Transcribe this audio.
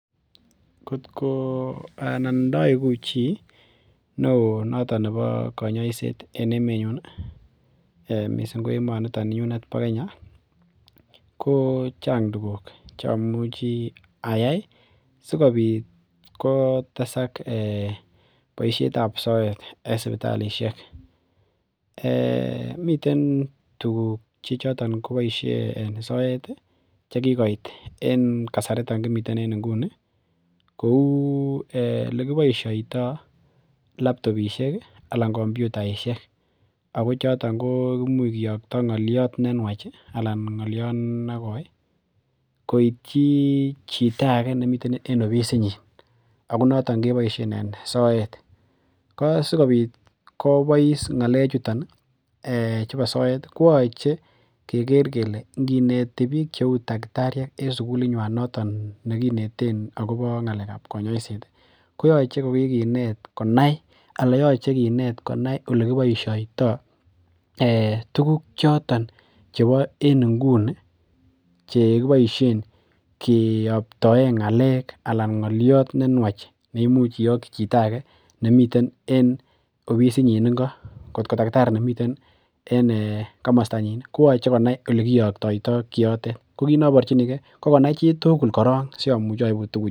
Ngotkoo, anan ndaigu chi neo noton nebo kanyoiset en emenyun, mising ko emoniton ninyunet bo Kenya kochang tukuk chamuchi ayai sigopit kotesak ee boisietab soet en sipitalisiek. Miten tuguk che choton koboisie en soet chechoton koboisie en kasari kimiten inguni, kou elekiboisioito labtopisiek anan kompiutaisiek ago choton ko, kimuch kiyokto ngoliot ne nuach anan ngoliot nekoi koityi chito age nemiten en ofisinyin ago notok keboisien en soet. Ko sigopit kobois ngalechuton chubo soet koyoche keker kele ngineti biik cheu taktariek en sugulinywan noton nekineten agobo ngalekab konyoiset koyoche kokikinet konai alayoche kinet konai elekiboisioito tuguk choton chebo en inguni cheboisien kiyoptoen ngalek, ngolyot ne nuach ne imuch iyokyi chito age nemiten en ofisinyin ingo. Ngotko takitari nemiten en ee komostanyin koyoche konai olekiyoktoito kiyotet. Ko kit noborchinige, kokonai chitugul korok siamuch aibu.